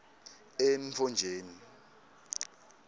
entfonjeni